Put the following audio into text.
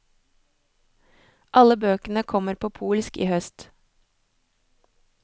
Alle bøkene kommer på polsk i høst.